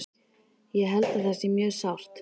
Ég held að það sé mjög sárt.